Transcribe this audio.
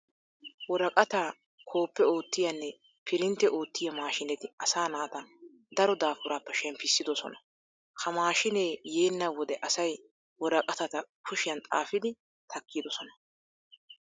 Woraqataa koppe oottiyanne pirintte oottiya maashiineti asaa naata daro daafuraappe shemppissidosona. Ha maashiinee yeenna wode asay woraqatata kushiyan xaafiiddi takkidosona.